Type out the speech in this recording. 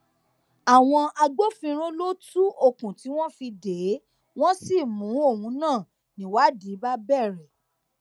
àwọn agbófinró ló tú okùn tí wọn fi dè é wọn sì mú òun náà níwádìí bá bẹrẹ